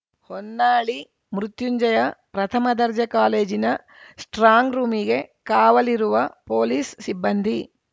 ಹೊನ್ನಾಳಿ ಮೃತ್ಯುಂಜಯ ಪ್ರಥಮ ದರ್ಜೆ ಕಾಲೇಜಿನ ಸ್ಟ್ರಾಂಗ್‌ ರೂಮಿಗೆ ಕಾವಲಿರುವ ಪೊಲೀಸ್‌ ಸಿಬ್ಬಂದಿ